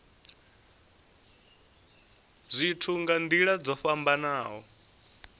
zwithu nga nila dzo fhambanaho